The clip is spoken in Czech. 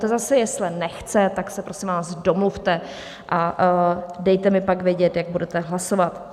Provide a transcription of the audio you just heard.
Ta zase jesle nechce, tak se, prosím vás, domluvte a dejte mi pak vědět, jak budete hlasovat.